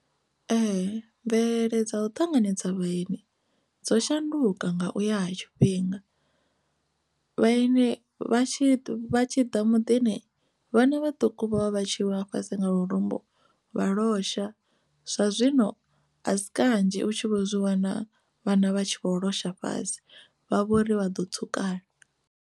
Ee, mvelele dza u ṱanganedza vhaeni dzo shanduka nga uya ha tshifhinga vhaeni vha tshi vha tshi ḓa muḓini vhana vhaṱuku vha vha tshi wa fhasi nga lurumbu vha losha zwa zwino a si kanzhi u tshi vho zwi wana vhana vha tshi vho losha fhasi vha vho ri vha ḓo tsukala.